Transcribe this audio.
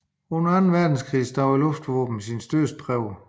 Under Anden Verdenskrig stod luftvåbenet sin store prøve